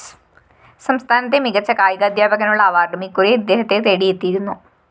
സംസ്ഥാനത്തെ മികച്ച കായികാദ്ധ്യാപകനുള്ള അവാര്‍ഡും ഇക്കുറി ഇദ്ദേഹത്തെ തേടിയെത്തിയിരുന്നു